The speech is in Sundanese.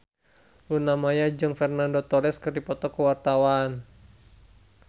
Luna Maya jeung Fernando Torres keur dipoto ku wartawan